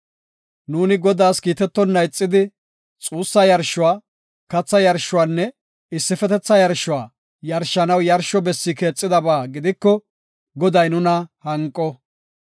Nu Godaas kiitetonna ixidi, xuussa yarshuwa, katha yarshuwanne issifetetha yarshuwa yarshanaw yarsho bessi keexidaba gidiko, Goday nuna hanqo.